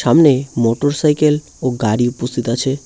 সামনে motorcycle ও গাড়ি উপস্থিত আছে।